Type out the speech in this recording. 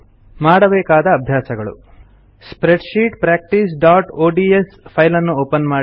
ಮಾಡಬೇಕಾದ ಅಭ್ಯಾಸಗಳು ಸ್ಪ್ರೆಡ್ಶೀಟ್ practiceಒಡಿಎಸ್ ಫೈಲ್ ಅನ್ನು ಓಪನ್ ಮಾಡಿ